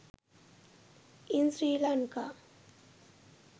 in sri lanka